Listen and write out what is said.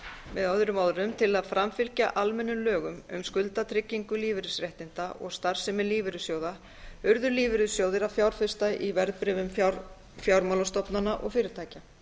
með öðrum orðum til að framfylgja almennum lögum um skuldatryggingu lífeyrisréttinda og starfsemi lífeyrissjóða urðu lífeyrissjóðir að fjárfesta í verðbréfum fjármálastofnana og fyrirtækja